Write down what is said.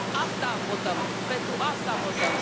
Asta votăm, pentru asta votăm.